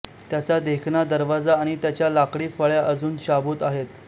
त्याचा देखणा दरवाजा आणि त्याच्या लाकडी फळ्या अजून शाबूत आहेत